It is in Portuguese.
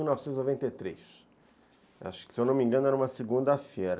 de mil novecentos e noventa e três. Acho que, se eu não me engano, era uma segunda-feira.